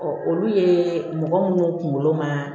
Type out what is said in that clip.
olu ye mɔgɔ minnu kunkolo ma